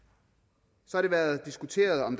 så har det været diskuteret om